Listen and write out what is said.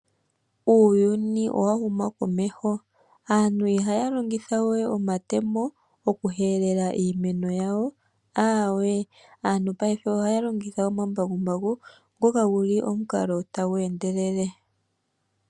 Uuyuni owa huma komeho aantu ihaa longitha we omatemo oku helela iimeno yawo, aawe aantu paife oha longitha omambakumbaku ngoka nguli omukalo tagu endelele.